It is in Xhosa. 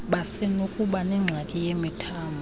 basenokuba nengxaki yemithambo